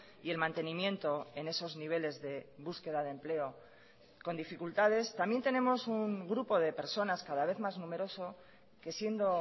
y el mantenimiento en esos niveles de búsqueda de empleo con dificultades también tenemos un grupo de personas cada vez más numeroso que siendo